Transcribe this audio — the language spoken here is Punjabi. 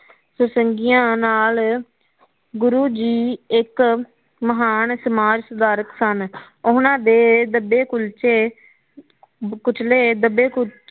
ਸੁਸੰਗਿਆ ਨਾਲ ਗੁਰੂ ਜੀ ਇਕ ਮਹਾਨ ਸਮਾਜ ਸੁਧਾਰਨ ਸਨ ਉਹਨਾ ਦੇ ਦੱਬੇ ਕਲਚੇ ਕੁਚਲੇ ਦੱਬੇ